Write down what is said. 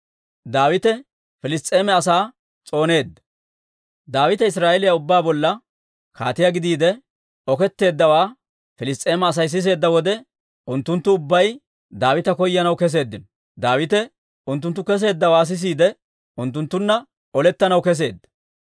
Daawite Israa'eeliyaa ubbaa bolla kaatiyaa gidiide oketteeddawaa Piliss's'eema Asay siseedda wode, unttunttu ubbay Daawita koyanaw keseeddino. Daawite unttunttu kesseeddawaa sisiide, unttunttunna olettanaw kesseedda.